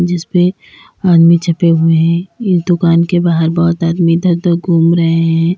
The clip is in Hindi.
जिसपे आदमी छपे हुए हैं। इस दुकान के बाहर बोहोत आदमी इधर उधर घूम रहे हैं।